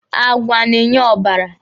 Àgwà na-enye ọbara.